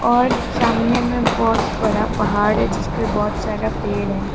और सामने में बहुत बड़ा पहाड़ है जिसमें बहुत सारा पेड़ है।